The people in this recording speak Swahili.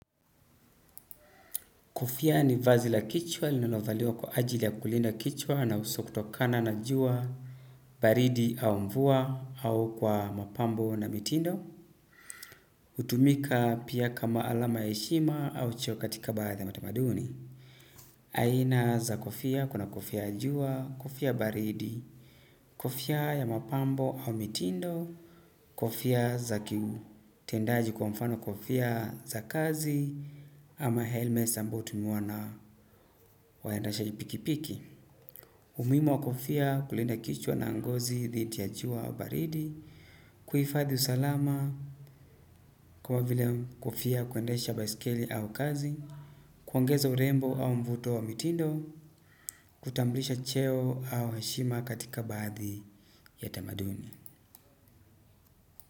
Kofia ni vazi la kichwa linalovaliwa kwa ajili ya kulinda kichwa na uso kutokana na juwa baridi au mvua au kwa mapambo na mitindo. Utumika pia kama alama ya eshima au cheo katika baadhi ya matamaduni. Aina za kofia kuna kofia ya jua, kofia baridi, kofia ya mapambo au mitindo, kofia za ki. Tendaji kwa mfano kofia za kazi. Ama helmes ambao hutumiwa na waendashaji pikipiki. Umuimu wa kofia kulinda kichwa na ngozi dhiti ya chua au baridi. Kuifadhi usalama kwa vile kofia ya kuendesha baiskeli au kazi kuongeza urembo au mvuto wa mitindo. Kutambulisha cheo au heshima katika baadhi ya tamaduni.